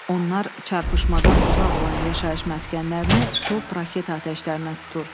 Onlar çarpışmadan uzaq olan yaşayış məskənlərini top, raket atəşlərinə tutur.